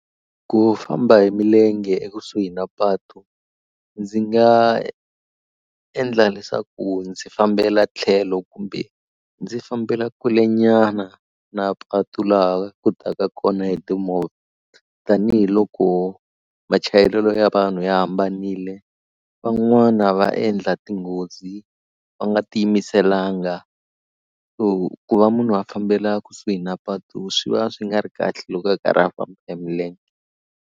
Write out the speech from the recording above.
Ku famba hi milenge ekusuhi na patu ndzi nga endla leswaku ndzi fambela tlhelo kumbe ndzi fambela kulenyana na patu laha ku taka kona hi timovha tanihiloko machayelelo ya vanhu ya hambanile van'wana va endla tinghozi va nga ti yimiselanga so ku va munhu a fambela kusuhi na patu swi va swi nga ri kahle loko a karhi a famba hi milenge.